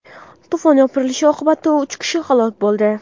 To‘fon yopirilishi oqibatida uch kishi halok bo‘ldi .